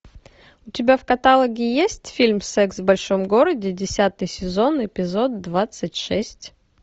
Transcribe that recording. у тебя в каталоге есть фильм секс в большом городе десятый сезон эпизод двадцать шесть